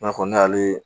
I n'a fɔ ne y'ale